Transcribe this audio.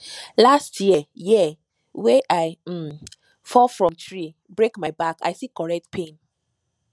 last year year wey i um fall from tree break my back i see correct pain